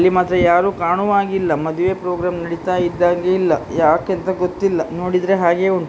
ಇಲ್ಲಿ ಮಾತ್ರ ಯಾರು ಕಾಣುವ ಹಾಗೆ ಇಲ್ಲ ಮದುವೆಯ ಪ್ರೋಗ್ರಾಮ್ ನೆಡಿತಾ ಇದ್ದ ಹಾಗೆ ಇಲ್ಲ ಯಾಕೆ ಅಂತ ಗೊತ್ತಿಲ್ಲ ನೋಡಿದ್ರೆ ಹಾಗೆ ಉಂಟು.